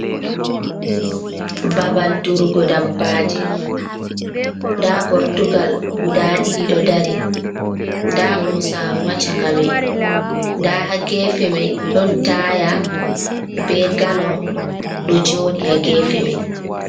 Babal durugo dabbaji, nda gortugal guda ɗiɗi ɗo dari, nda bosaru ha caka mai, nda ha gefe mai ɗon taya be galon ɗo joɗi ha gefe mai.